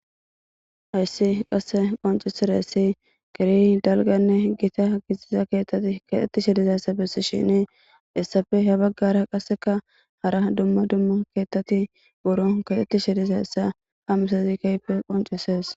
Hayssi qasse qonccissidayssi keehi dalgganne gita keeththati keexetishe dizayssa bessishenne hessappe ha bagara qasseka hara dumma dumma keeththati buron keexetishe dizayssa ha misile keehippe qonccisees.